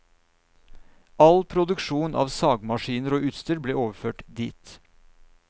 All produksjon av sagmaskiner og utstyr ble overført dit.